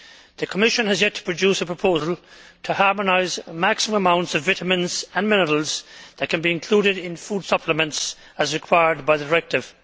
The Commission has yet to produce a proposal to harmonise the maximum amounts of vitamins and minerals that can be included in food supplements as required by the directive.